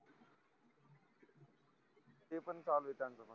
ते पण call येताय त्याचं पण